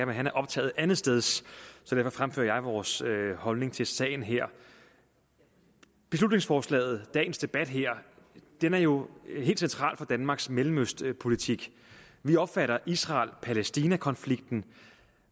men han er optaget andetsteds og derfor fremfører jeg vores holdning til sagen her beslutningsforslaget og dagens debat her er jo helt central for danmarks mellemøstpolitik vi opfatter israel palæstina konflikten